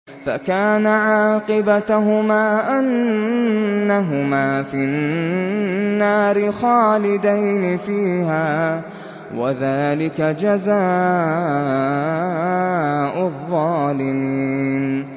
فَكَانَ عَاقِبَتَهُمَا أَنَّهُمَا فِي النَّارِ خَالِدَيْنِ فِيهَا ۚ وَذَٰلِكَ جَزَاءُ الظَّالِمِينَ